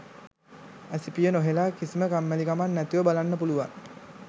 ඇසිපිය නොහෙළා කිසිම කම්මැලි කමක් නැතිව බලන්න පුළුවන්